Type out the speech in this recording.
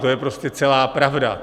To je prostě celá pravda.